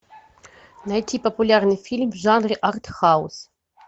найти популярный фильм в жанре арт хаус